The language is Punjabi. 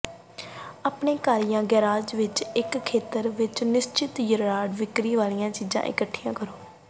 ਆਪਣੇ ਘਰ ਜਾਂ ਗਰਾਜ ਦੇ ਇੱਕ ਖੇਤਰ ਵਿੱਚ ਨਿਸ਼ਚਿਤ ਯਾਰਡ ਵਿਕਰੀ ਵਾਲੀਆਂ ਚੀਜ਼ਾਂ ਇਕੱਠੀਆਂ ਕਰੋ